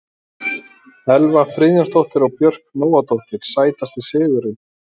Elva Friðjónsdóttir og Björk Nóadóttir Sætasti sigurinn?